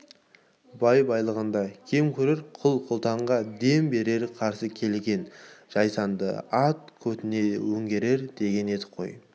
бай-бағланды кем көрер құл-құтанға дем берер қарсы келген жайсаңды ат көтіне өңгерер деген едік қой